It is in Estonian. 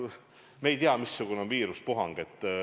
No me ei tea, missugune on viirusepuhang.